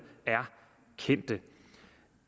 er kendte